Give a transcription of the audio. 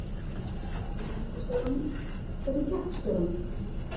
Hvernig gengur stjóranum: Hvernig gekk stjóranum?